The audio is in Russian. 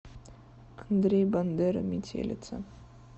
андрей бандера метелица